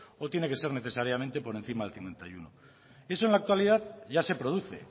o tiene que ser necesariamente por encima del cincuenta y uno eso en la actualidad ya se produce